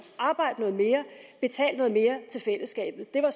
arbejde noget mere til fællesskabet det var